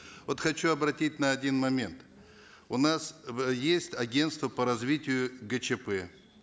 вот хочу обратить на один момент у нас есть агентство по развитию гчп